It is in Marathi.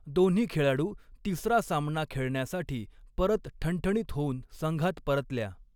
दोन्ही खेळाडू तिसरा सामना खेळण्यासाठी परत ठणठणीत होऊन संघात परतल्या.